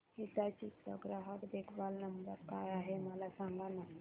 हिताची चा ग्राहक देखभाल नंबर काय आहे मला सांगाना